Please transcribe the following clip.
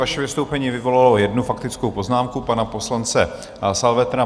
Vaše vystoupení vyvolalo jednu faktickou poznámku pana poslance Salvetra.